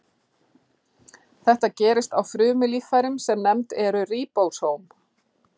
Þetta gerist á frumulíffærum sem nefnd eru ríbósóm.